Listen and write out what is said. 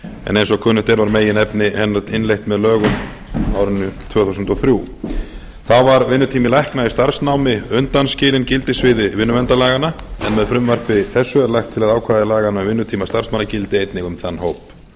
en eins og kunnugt er var meginefni hennar innleitt með lögum á árinu tvö þúsund og þrjú þá var vinnutími lækna í starfsnámi undanskilinn gildissviði vinnuverndarlaganna en með frumvarpi þessu er lagt til að ákvæði laganna um vinnutíma starfsmanna gildi einnig um þann hóp það